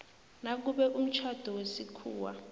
nakube umtjhado wesikhuwa